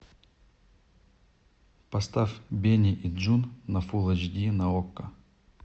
поставь бенни и джун на фул эйч ди на окко